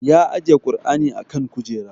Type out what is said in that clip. Ya ajiye kur'ani a kan kujera